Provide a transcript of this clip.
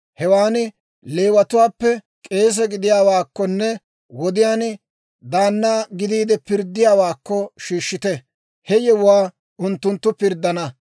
Hewaan Leewatuwaappe k'eese gidiyaawaakkonne he wodiyaan daanna gidiide pirddiyaawaakko shiishshite; he yewuwaa unttunttu pirddana.